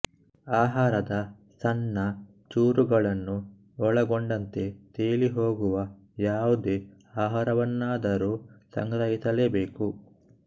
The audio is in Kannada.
ಆಹಾರದ ಸಣ್ಣ ಚೂರುಗಳನ್ನು ಒಳಗೊಂಡಂತೆ ತೇಲಿಹೋಗುವ ಯಾವುದೇ ಆಹಾರವನ್ನಾದರೂ ಸಂಗ್ರಹಿಸಲೇಬೇಕು